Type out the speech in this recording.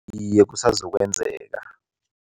Iye, kusazokwenzeka.